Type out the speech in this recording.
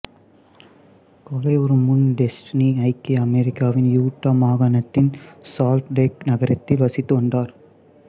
கொலையுறும் முன் டெசுடினி ஐக்கிய அமெரிக்காவின் யூட்டா மாகாணத்தின் சால்ட் லேக் நகரத்தில் வசித்து வந்தார்